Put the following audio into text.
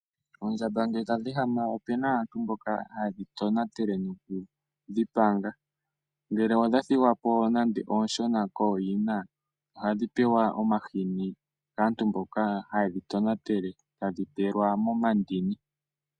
Oondjamba ngele tadhi ehama ope na aantu mboka haye dhi tonatele noku dhi panga. Ngele odha thigwa po nande oonshona kooyina ohadhi pewa omahini kaantu mboka haye dhi tonatele tadhi pelwa momandini.